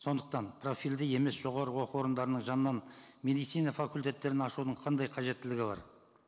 сондықтан профильді емес жоғарғы оқу орындарының жанынан медицина факультеттерін ашудың қандай қажеттілігі бар